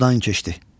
Sudandan keçdi.